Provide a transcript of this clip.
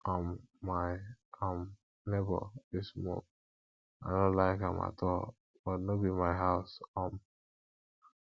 um my um neighbor dey smoke i no like am at all but no be my house um